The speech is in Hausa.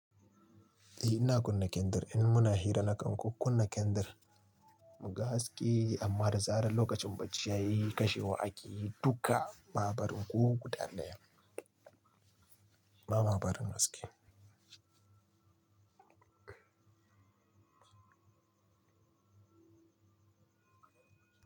Eh ina kunna kendir, in muna hira na kan ku kunna kendir mu ga haske amma da zaran lokacin bacci yayi kashewa akeyi duka, ba'a barin ko guda daya. Ba ma barin haske.